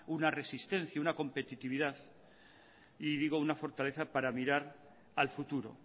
una resistencia una competitividad y digo una fortaleza para mirar al futuro